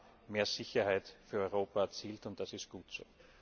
Wir haben mehr Sicherheit für Europa erzielt, und das ist gut so!